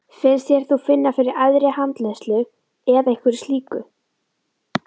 Finnst þér þú finna fyrir æðri handleiðslu eða einhverju slíku?